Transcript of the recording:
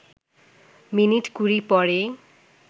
minute কুড়ি পরেই